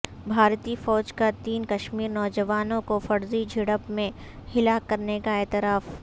بھارتی فوج کا تین کشمیری نوجوانوں کو فرضی جھڑپ میں ہلاک کرنے کا اعتراف